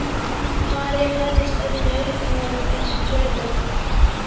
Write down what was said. María færist öll í aukana við þessa tölu.